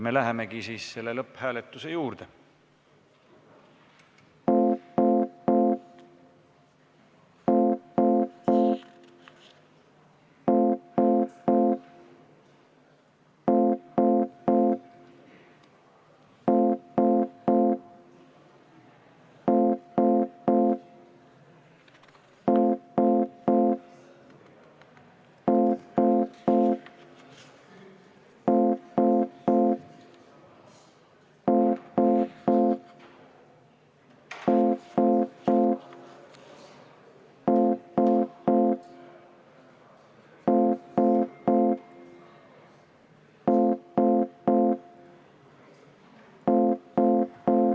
Me lähemegi lõpphääletuse juurde.